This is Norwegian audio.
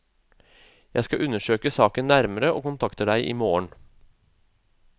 Jeg skal undersøke saken nærmere, og kontakter deg i morgen.